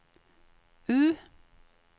U